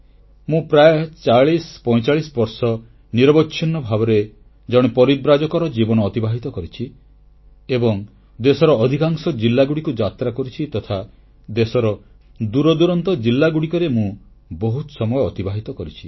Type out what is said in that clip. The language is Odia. ମୁଁ ପ୍ରାୟ 4045 ବର୍ଷ ନିରବଚ୍ଛିନ୍ନ ଭାବରେ ଜଣେ ପରିବ୍ରାଜକର ଜୀବନ ଅତିବାହିତ କରିଛି ଏବଂ ଦେଶର ଅଧିକାଂଶ ଜିଲ୍ଲାକୁ ଯାତ୍ରା କରିଛି ତଥା ଦେଶର ଦୂରଦୂରାନ୍ତ ଜିଲ୍ଲାଗୁଡ଼ିକରେ ମୁଁ ବହୁତ ସମୟ ଅତିବାହିତ କରିଛି